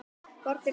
Hvort er hvað?